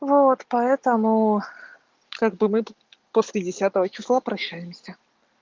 вот поэтому как бы мы тут после десятого числа прощаемся